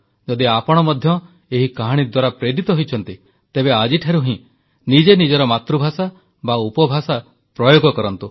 ଯଦି ଆପଣ ମଧ୍ୟ ଏହି କାହାଣୀ ଦ୍ୱାରା ପ୍ରେରିତ ହୋଇଛନ୍ତି ତେବେ ଆଜିଠାରୁ ହିଁ ନିଜେ ନିଜର ମାତୃଭାଷା ବା ଉପଭାଷା ପ୍ରୟୋଗ କରନ୍ତୁ